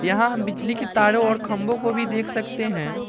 यहां हम बिजली की तारों और खम्बो को भी देख सकते हैं।